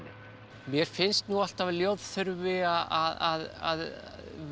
mér finnst nú alltaf að ljóð þurfi að